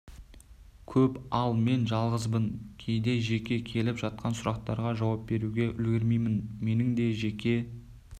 көп ал мен жалғызбын кейде жекеме келіп жатқан сұрақтарға жауап беруге үлгермеймін менің де жеке